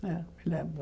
É, lembro.